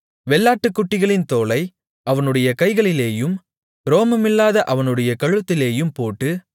வெள்ளாட்டுக்குட்டிகளின் தோலை அவனுடைய கைகளிலேயும் ரோமமில்லாத அவனுடைய கழுத்திலேயும் போட்டு